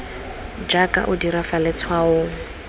jaaka o dira fa letshwaong